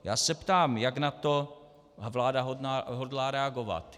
Já se ptám, jak na to vláda hodlá reagovat.